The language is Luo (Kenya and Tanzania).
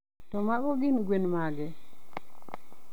To mago gin gwen mage?